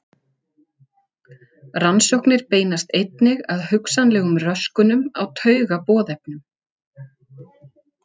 Rannsóknir beinast einnig að hugsanlegum röskunum á taugaboðefnum.